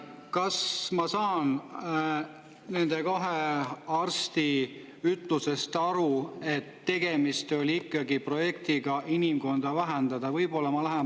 Kas ma saan nende kahe arsti ütlustest õigesti aru, et tegemist oli ikkagi projektiga inimkonda vähendada?